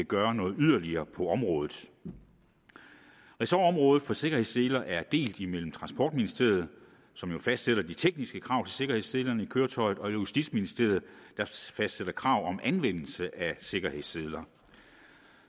gøre noget yderligere på området ressortområdet for sikkerhedsseler er delt imellem transportministeriet som jo fastsætter de tekniske krav til sikkerhedsselerne i køretøjet og justitsministeriet der fastsætter krav om anvendelse af sikkerhedsseler